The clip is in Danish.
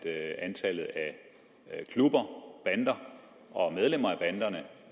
antallet af klubber bander og medlemmer